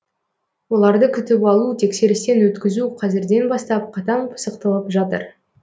оларды күтіп алу тексерістен өткізу қазірден бастап қатаң пысықталып жатыр